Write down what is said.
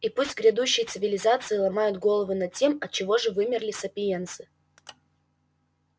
и пусть грядущие цивилизации ломают головы над тем отчего же вымерли сапиенсы